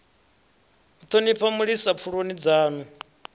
u thonifha mulisa pfuloni dzanu